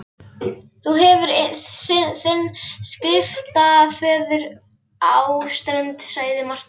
Þú hefur þinn skriftaföður á Strönd, sagði Marteinn kuldalega.